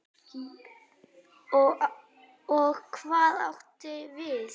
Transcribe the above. Og hvað áttu við?